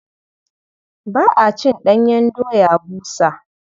Ba a cin ɗanyen doya busa.